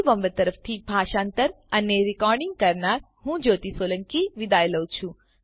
iit Bombay તરફથી spoken tutorial project માટે ભાષાંતર કરનાર હું જ્યોતી સોલંકી વિદાય લઉં છું